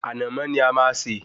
Ànàmọ́ ni a máa sè